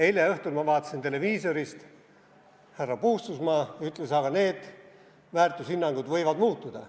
Eile õhtul vaatasin televiisorist, härra Puustusmaa ütles, et need väärtushinnangud võivad muutuda.